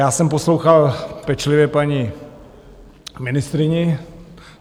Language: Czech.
Já jsem poslouchal pečlivě paní ministryni.